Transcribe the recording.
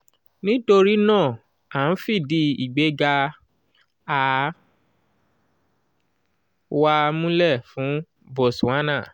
nítorí náà a ń fìdí ìgbéga 'a-/a-2' wa múlẹ̀ fún botswana. um